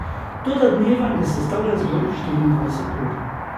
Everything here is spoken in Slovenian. Toda dneva ne sestavlja zgolj štiriindvajset ur.